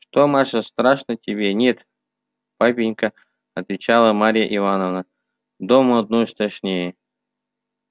что маша страшно тебе нет папенька отвечала марья ивановна дома одной страшнее